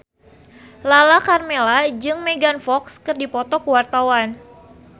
Lala Karmela jeung Megan Fox keur dipoto ku wartawan